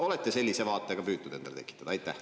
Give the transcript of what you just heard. Olete sellise vaate ka püüdnud endale tekitada?